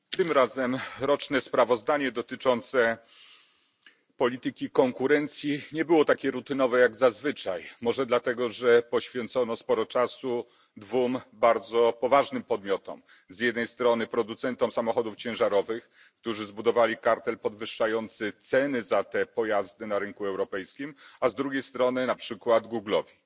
Pani Przewodnicząca! Tym razem roczne sprawozdanie dotyczące polityki konkurencji nie było takie rutynowe jak zazwyczaj. Może dlatego, że poświęcono sporo czasu dwóm bardzo poważnym podmiotom z jednej strony producentom samochodów ciężarowych, którzy zbudowali kartel podwyższający ceny za te pojazdy na rynku europejskim, a z drugiej strony na przykład firmie Google.